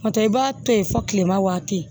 N'o tɛ i b'a to yen fo kilema waati